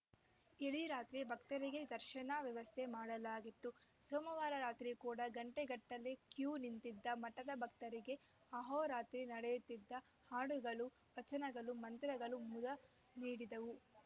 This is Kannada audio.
ಇಡೀ ರಾತ್ರಿ ಭಕ್ತರಿಗೆ ದರ್ಶನ ವ್ಯವಸ್ಥೆ ಮಾಡಲಾಗಿತ್ತು ಸೋಮವಾರ ರಾತ್ರಿ ಕೂಡ ಗಂಟೆಗಟ್ಟಲೆ ಕ್ಯೂ ನಿಂತಿದ್ದ ಮಠದ ಭಕ್ತರಿಗೆ ಆಹೋರಾತ್ರಿ ನಡೆಯುತ್ತಿದ್ದ ಹಾಡುಗಳು ವಚನಗಳು ಮಂತ್ರಗಳು ಮುದ ನೀಡಿದವು